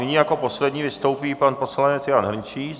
Nyní jako poslední vystoupí pan poslanec Jan Hrnčíř.